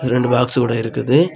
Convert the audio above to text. ரெண்டு பாக்ஸ் கூட இருக்குது.